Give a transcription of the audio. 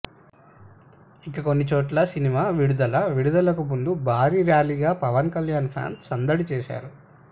ఇక కొన్ని చోట్ల సినిమా విడుదల విడుదలకు ముందు భారీ ర్యాలీగా పవన్ కళ్యాణ్ ఫ్యాన్స్ సందడి చేశారు